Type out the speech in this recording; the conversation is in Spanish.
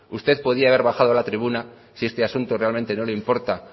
usted podía haber bajado a la tribuna si esta asunto realmente no le importa